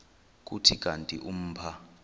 kuthi kanti umpha